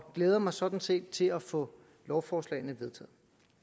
glæder mig sådan set til at få lovforslagene vedtaget